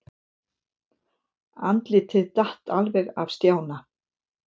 Andlitið datt alveg af Stjána.